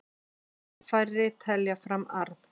Mun færri telja fram arð